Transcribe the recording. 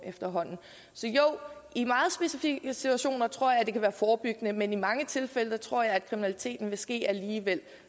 så jo i meget specifikke situationer tror jeg det kan være forebyggende men i mange tilfælde tror jeg at kriminaliteten vil ske alligevel